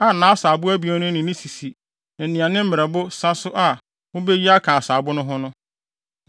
a nʼasaabo abien no ne ne sisi ne nea ne mmerɛbo sa so a mubeyi aka asaabo no ho no.